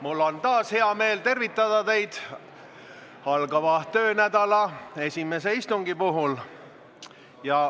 Mul on taas hea meel tervitada teid algava töönädala esimese istungi puhul.